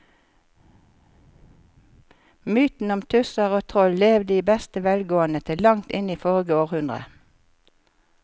Mytene om tusser og troll levde i beste velgående til langt inn i forrige århundre.